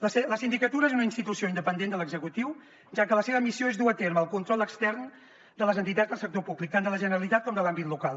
la sindicatura és una institució independent de l’executiu ja que la seva missió és dur a terme el control extern de les entitats del sector públic tant de la generalitat com de l’àmbit local